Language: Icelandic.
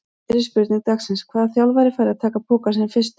Fyrri spurning dagsins: Hvaða þjálfari fær að taka pokann sinn fyrstur?